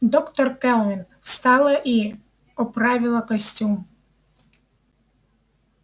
доктор кэлвин встала и оправила костюм